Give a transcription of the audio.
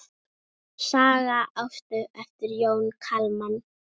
Saga Ástu eftir Jón Kalman.